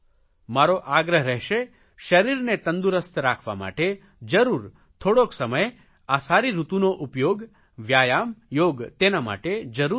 મારો આગ્રહ રહેશે શરીરને તંદુરસ્ત રાખવા માટે જરૂર થોડોક સમય આ સારી ઋતુનો ઉપયોગ વ્યાયામ યોગ તેના માટે જરૂર કરશો